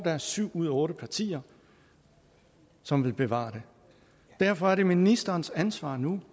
er syv ud af otte partier som vil bevare det derfor er det ministerens ansvar nu